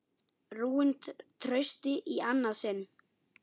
Rúin trausti í annað sinn.